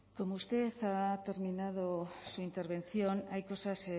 como usted ha terminado su intervención hay cosas